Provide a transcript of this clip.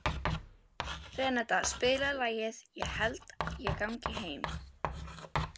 Renata, spilaðu lagið „Ég held ég gangi heim“.